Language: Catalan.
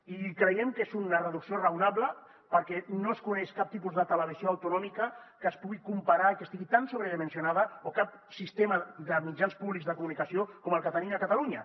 i creiem que és una reducció raonable perquè no es coneix cap tipus de televisió autonòmica que s’hi pugui comparar i que estigui tan sobredimensionada o cap sistema de mitjans públics de comunicació com el que tenim a catalunya